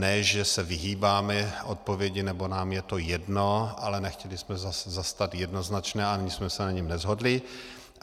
Ne že se vyhýbáme odpovědi nebo nám je to jedno, ale nechtěli jsme zastat jednoznačné a ani jsme se na něm neshodli.